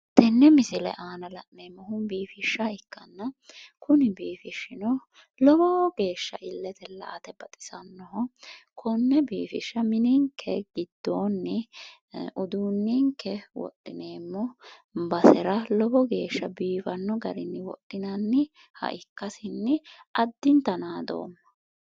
Tene misile aana la'neemmohu biifisha ikkanna, kuni biifishino lowo geeshsha ilete la"ate baxisanoho, kone biifisha mininke giddoni uduunenke wodhineemmo basera lowo geeshsha biifano garini wodhinanniha ikkasinni addintanni naadoomma".